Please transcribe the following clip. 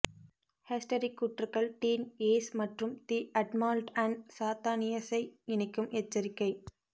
ஹேஸ்டெரிக் கூற்றுக்கள் டீன் ஏஸ் மற்றும் தி அட்மால்ட் அண்ட் சாத்தானியஸை இணைக்கும் எச்சரிக்கை